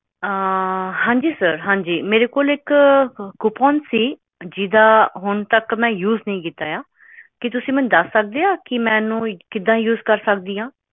ਆਹ ਹਾਂਜੀ ਸਰ ਹਾਂਜੀ ਮੇਰੇ ਕੋਲ ਇੱਕ ਕੁਪੋਨ ਸੀ ਜੀਦਾ ਹੁਣ ਤੱਕ ਮੈਂ ਯੂਜ਼ ਨਹੀਂ ਕੀਤਾ ਆ ਕੀ ਤੁਸੀਂ ਮੈਨੂੰ ਦਸ ਸਕਦੇ ਆ ਕਿ ਮੈਨੂੰ ਕਿਦਾਂ ਯੂਜ਼ ਕਰ ਸਕਦੀ ਆ